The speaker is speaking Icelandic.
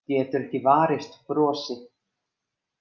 Getur ekki varist brosi.